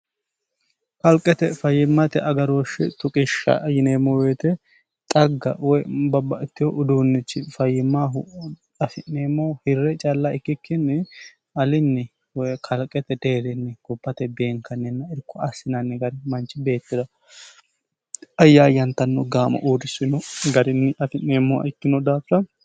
kalqete fayimmate agarooshshi tuqishsha yineemmo woyite xagga woy babbatewo uduunnichi fayyimaahu afi'neemmoh hirre calla ikkikkinni alinni woy kalqete deerinni gubbate beenkanninna irko assinanni gari manchi beettira ayyaayyantanno gaamo uurrisino garinni afi'neemmoh ikkino daafira